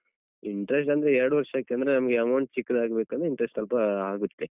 Interest ಅಂದ್ರೆ ಎರಡು ವರ್ಷಕ್ಕೆ ಅಂದ್ರೆ ನಮ್ಗೆ amount ಚಿಕ್ಕದಾಗ್ಬೇಕಂದ್ರೆ interest ಸ್ವಲ್ಪ ಆಗುತ್ತೆ.